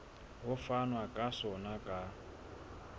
ho fanwa ka sona ka